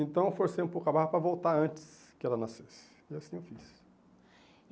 Então eu forcei um pouco a barra para voltar antes que ela nascesse, e assim eu fiz.